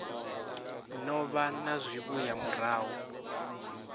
no vha na zwivhuya murahu